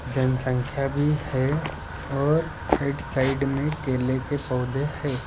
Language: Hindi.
जनसंख्या भी है और राइट साइड में केले के पौधे हैं।